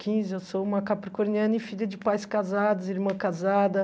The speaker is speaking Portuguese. Quinze, eu sou uma capricorniana e filha de pais casados, irmã casada.